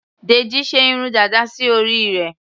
Dèjì ṣe irun dàda sí orí rẹ̀.